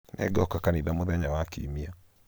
nĩngoka kanithamũthenya wa kiumia